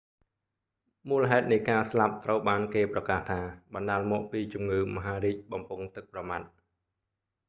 មូលហេតុនៃការស្លាប់ត្រូវបានគេប្រកាសថា បណ្តាលមកពីជំងឺមហារីកបំពង់ទឹកប្រមាត់